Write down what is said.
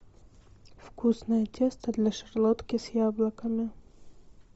вкусное тесто для шарлотки с яблоками